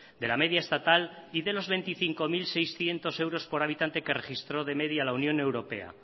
de la media estatal y de los veinticinco mil seiscientos euros por habitante que registró de media la unión europea